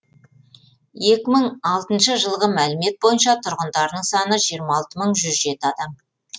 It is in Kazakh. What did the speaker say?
екі мың алтыншы жылғы мәлімет бойынша тұрғындарының саны жиырма алты мың жүз жеті адамды құрайды